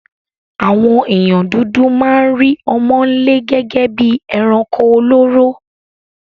Àwon èèyàn dúdú ma n rí ọmọ́nlé gégé bi eranko olóró